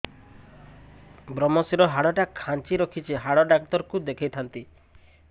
ଵ୍ରମଶିର ହାଡ଼ ଟା ଖାନ୍ଚି ରଖିଛି ହାଡ଼ ଡାକ୍ତର କୁ ଦେଖିଥାନ୍ତି